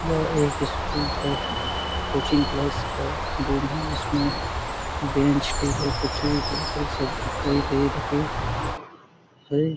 यह एक स्कूल का कोचिंग क्लास का रूम है जिसमें बेंच टेबल कुर्सी हैं ।